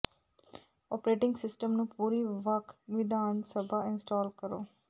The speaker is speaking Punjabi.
ਓਪਰੇਟਿੰਗ ਸਿਸਟਮ ਨੂੰ ਪੂਰੀ ਵੱਖ ਵਿਧਾਨ ਸਭਾ ਇੰਸਟਾਲ ਕਰੋ